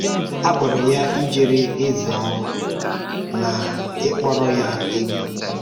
A kpọrọ ya ịjere eze ọrụ na ịkpọrọ ya egwú.